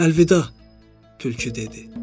Əlvida, tülkü dedi.